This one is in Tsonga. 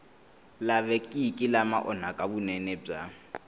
lavekeki lama onhaka vunene bya